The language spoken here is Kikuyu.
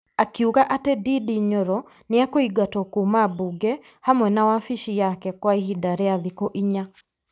Akiuga atĩ Ndindi Nyoro nĩ ekũingatwo kuumambunge hamwe na wabici yake kwa ihinda rĩa thikũ inya.